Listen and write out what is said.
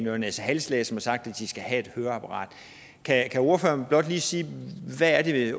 øre næse hals læge som har sagt at de skal have et høreapparat kan ordføreren blot lige sige hvad det